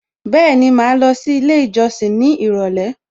Bẹ́ẹ̀ni, màá lọ sí ilé ìjọsìn ní ìrọ̀lẹ́